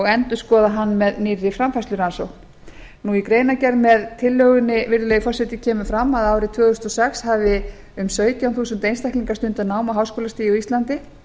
endurskoða hann með nýrri framfærslurannsókn í greinargerð með tillögunni virðulegi forseti kemur fram að árið tvö þúsund og sex hafi um sautján þúsund einstaklingar stundað nám á háskólastigi á íslandi